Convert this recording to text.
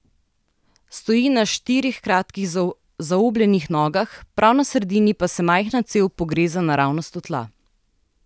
Stoji na štirih kratkih zaobljenih nogah, prav na sredini pa se majhna cev pogreza naravnost v tla.